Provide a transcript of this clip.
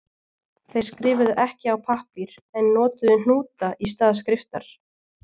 Þeir skrifuðu ekki á pappír en notuðu hnúta í stað skriftar.